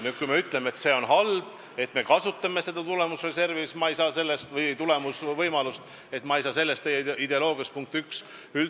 Kui te nüüd ütlete, et see on halb, kui me seda tulemusreservi või tulemuse võimalust kasutame, siis ma ei saa sellest ideoloogiast üldse aru.